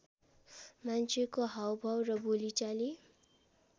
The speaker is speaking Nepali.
मान्छेको हाउभाउ र बोलीचाली